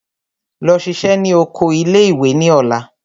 Lọ ṣiṣẹ́ ní oko ilé ìwé ní ọ̀la!